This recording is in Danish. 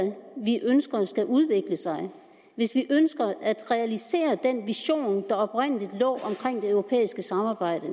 vi ønsker skal udvikle sig hvis vi ønsker at realisere den vision der oprindelig lå for det europæiske samarbejde